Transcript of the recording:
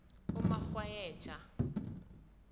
umakghwayeja